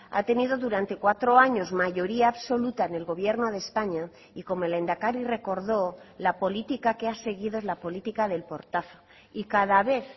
ha tenido durante cuatro años mayoría absoluta en el gobierno de españa y como el lehendakari recordó la política que ha seguido es la política del portazo y cada vez